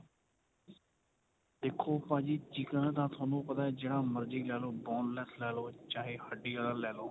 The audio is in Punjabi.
ਦੇਖੋ ਭਾਜੀ chicken ਤਾਂ ਤੁਹਾਨੂੰ ਪਤਾ ਜਿਹੜਾ ਮਰਜੀ ਲੈਲੋ boneless ਲੈਲੋ ਚਾਹੇ ਹੱਡੀ ਆਲਾ ਲੈਲੋ